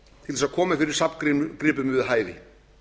til að koma fyrir safngripum við hæfi